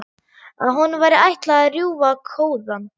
Að honum væri ætlað að rjúfa kóðann.